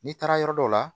N'i taara yɔrɔ dɔw la